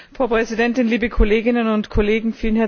Frau Präsidentin, liebe Kolleginnen und Kollegen!